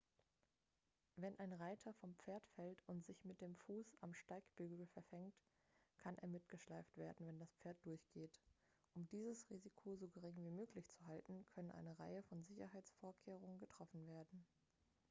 wenn ein reiter vom pferd fällt und sich mit dem fuß am steigbügel verfängt kann er mitgeschleift werden wenn das pferd durchgeht um dieses risiko so gering wie möglich zu halten können eine reihe von sicherheitsvorkehrungen getroffen werden